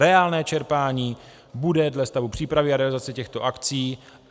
Reálné čerpání bude dle stavu přípravy a realizace těchto akcí.